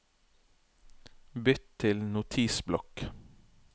Bytt til Notisblokk